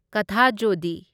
ꯀꯊꯥꯖꯣꯗꯤ